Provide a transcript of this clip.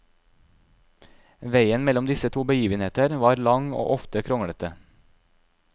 Veien mellom disse to begivenheter var lang og ofte kronglete.